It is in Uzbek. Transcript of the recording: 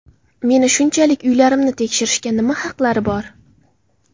Meni shunchalik uylarimni tekshirishga nima haqlari bor?